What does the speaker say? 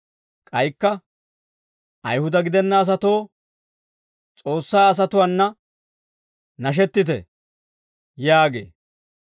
K'aykka, «Ayihuda gidenna asatoo, S'oossaa asatuwaana nashettite» yaagee.